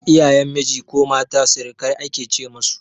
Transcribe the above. Iyayen miji ko mata sirikai ake ce musu